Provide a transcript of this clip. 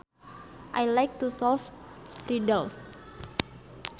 I like to solve riddles